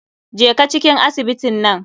Jeka cikin asibitin nan.